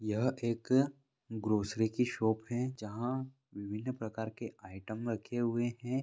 यह एक ग्रोसरी की शॉप है जहाँ विभिन्न प्रकार के आइटम रखे हुए हैं।